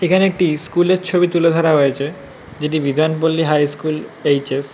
এখানে একটি স্কুল -এর ছবি তুলে ধরে রাখা হয়েছে। যেটি বিধানপল্লী হাই স্কুল এইচ.এস. ।